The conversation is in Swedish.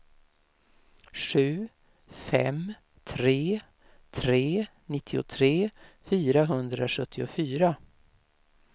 sju fem tre tre nittiotre fyrahundrasjuttiofyra